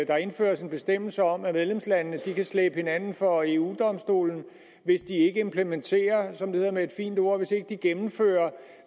der indføres en bestemmelse om at medlemslandene kan slæbe hinanden for eu domstolen hvis de ikke implementerer som det hedder med et fint ord hvis de ikke gennemfører